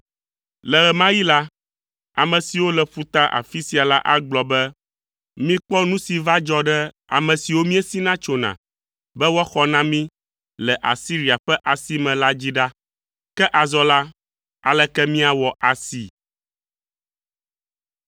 Le ɣe ma ɣi la, ame siwo le ƒuta afi sia la agblɔ be, mikpɔ nu si va dzɔ ɖe ame siwo miesina tsona be woaxɔ na mi le Asiria ƒe asi me la dzi ɖa. Ke azɔ la, aleke miawɔ asi?”